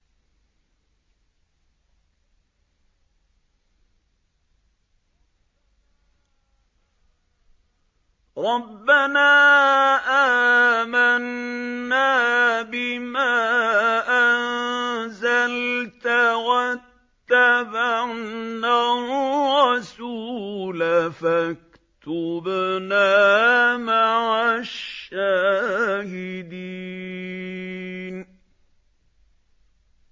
رَبَّنَا آمَنَّا بِمَا أَنزَلْتَ وَاتَّبَعْنَا الرَّسُولَ فَاكْتُبْنَا مَعَ الشَّاهِدِينَ